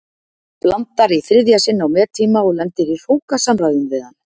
Blandar í þriðja sinn á mettíma og lendir í hrókasamræðum við hann.